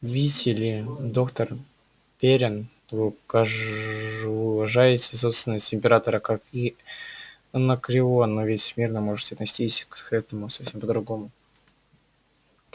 видите ли доктор пиренн вы уважаете собственность императора как и анакреон но ведь смирно может отнестись к этому совсем по-другому